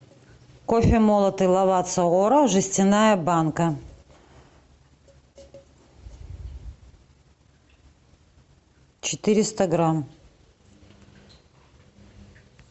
кофе молотый лавацца оро жестяная банка четыреста грамм